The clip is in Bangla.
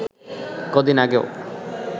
কদিন আগেও